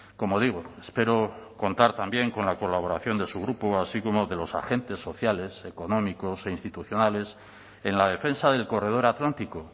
como digo espero contar también con la colaboración de su grupo así como de los agentes sociales económicos e institucionales en la defensa del corredor atlántico